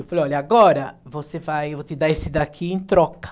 Eu falei, olha, agora você vai, eu vou te dar esse daqui em troca.